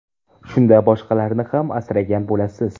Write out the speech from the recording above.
Shunda boshqalarni ham asragan bo‘lasiz.